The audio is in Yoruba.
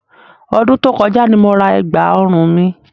Ọdún tó kọjá ni mo ra ẹ̀gbà òrun mi.